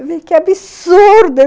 Eu falei, que absurdo!